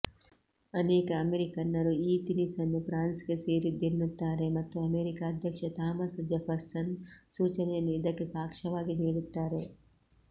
ಅನೇಕ ಅಮೆರಿಕನ್ನರು ಈ ತಿನಿಸನ್ನು ಫ್ರಾನ್ಸ್ಗೆ ಸೇರಿದ್ದೆನ್ನುತ್ತಾರೆ ಮತ್ತು ಅಮೆರಿಕ ಅಧ್ಯಕ್ಷ ಥಾಮಸ್ ಜೆಫರ್ಸನ್ ಸೂಚನೆಯನ್ನು ಇದಕ್ಕೆ ಸಾಕ್ಷ್ಯವಾಗಿ ನೀಡುತ್ತಾರೆ